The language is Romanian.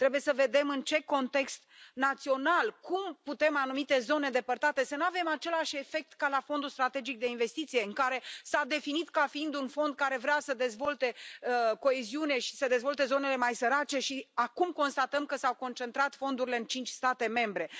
Trebuie să vedem în ce context național, cum putem în anumite zone îndepărtate să nu avem același efect ca la Fondul european pentru investiții strategice, care s a definit ca fiind un fond care vrea să dezvolte coeziune și să dezvolte zonele mai sărace și acum constatăm că s au concentrat fondurile în cinci state membre.